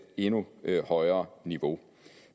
endnu højere niveau